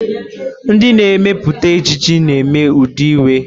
Ndị na-emepụta ejiji na-eme ụdị uwe.